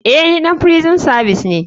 Eh ni ɗan firison savis ne.